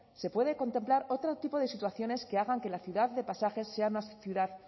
se puede contemplar otro tipo de situaciones que hagan que la ciudad de pasajes sea más ciudad